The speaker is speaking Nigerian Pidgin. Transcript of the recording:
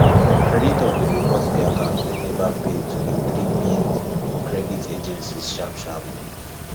creditor been report the account wey never pay to di three big credit agencies sharp sharp